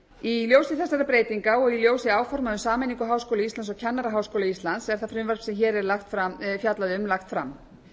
í ljósi þessara breytinga og í ljósi áforma um sameiningu háskóla íslands og kennaraháskóla íslands er það frumvarp sem hér er fjallað um lagt fram